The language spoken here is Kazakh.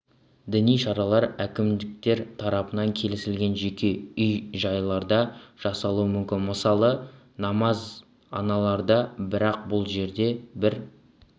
діни шаралар әкімдіктер тарапынан келісілген жеке үй-жайларда жасалуы мүмкін мысалы намазіаналарда бірақ бұл жерде бір